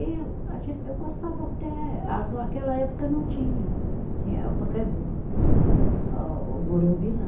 Eu a gen, eu gostava até, aquela época não tinha, tinha o Pacaembu, a o Morumbi não.